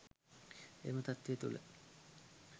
එම තත්වය තූළ